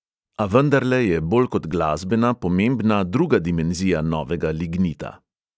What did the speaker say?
A vendarle je bolj kot glasbena pomembna druga dimenzija novega lignita.